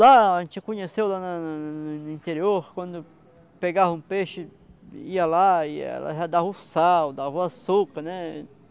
Lá, a gente conheceu lá lá lá lá no no interior, quando pegava um peixe, ia lá e ela já dava o sal, dava o açúcar, né?